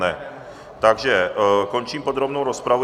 Ne, takže končím podrobnou rozpravu.